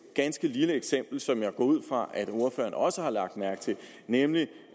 ganske lille eksempel som jeg går ud fra at ordføreren også har lagt mærke til nemlig